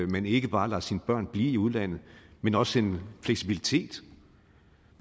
man ikke bare lader sine børn blive i udlandet men også en fleksibilitet